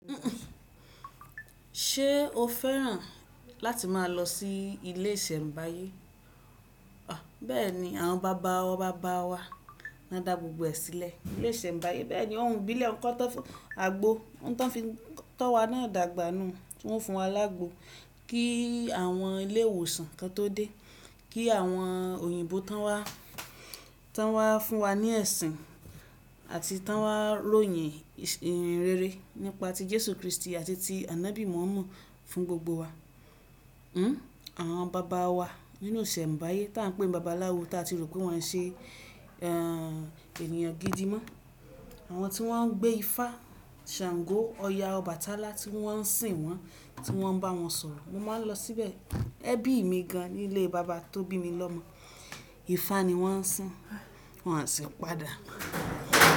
Ṣé o fẹ́ràn láti máa lọ sí ilé ìsẹ̀mbáyé? Bẹ́ẹ̀ni àwọn bàba baba wa ni won dá gbogbo ẹ̀ sílẹ̀. Ilé ìsẹ̀mbáyé. Bẹ́ẹ̀ni ouń ibílẹ̀ ńkan tó fi--àgbo, ohun ti won fi tó wa náà dàgbà nù. Wọ́n fún wa láágo kí àwọn ilé ìwòsàn kan tó dé, kí àwọn òyìnbó tan wá, tan wá fún wa ní ẹ̀sìn àti tan wá royin ìrin rere nípa ti Jésù Kristi àti ti Anábí Mọ̀hámo fún gbogbo wa. Àwọn bàbá wa nínú ìsẹ̀mbáyé tá a ń pè ní bàbá aláwo tá a ti rò pé wọ́n yin ṣe ènìyàn gidi mọ́. Àwọn tí wọ́n ń gbé ifá, ṣàngó, ọ̀yà, Ọbàtálá tí wọ́n ń sìn wọ́n, tí wọ́n bá wọn sọ̀rọ̀. Mo máa ń lọ síbẹ̀. Ẹbí mi gan nílé bàbá tó bí mi lọmọ. Ifá ni wọ́n ń sìn, wọ́n à sì padà.